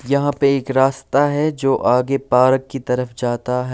यहाँ पे एक रास्ता है जो आगे पार्क की तरफ जाता है।